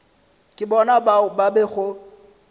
ke bona bao ba bego